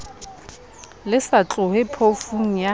le sa tlohe phofung ya